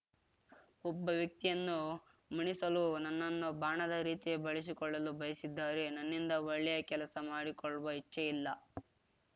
ಒಬ್ಬ ವ್ಯಕ್ತಿಯನ್ನು ಮಣಿಸಲು ನನ್ನನ್ನು ಬಾಣದ ರೀತಿ ಬಳಸಿಕೊಳ್ಳಲು ಬಯಸಿದ್ದಾರೆ ನನ್ನಿಂದ ಒಳ್ಳೆಯ ಕೆಲಸ ಮಾಡಿಸಿಕೊಳ್ಳುವ ಇಚ್ಛೆ ಇಲ್ಲ